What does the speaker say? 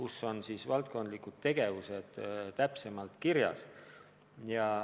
Seal on valdkondlikest tegevustest täpsemalt juttu.